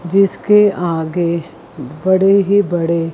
जिसके आगे बड़े ही बड़े--